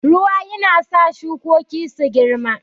Ruwa yana sa shukoki su girma.